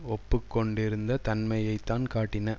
ஒப்பு கொண்டிருந்த தன்மையை தான் காட்டின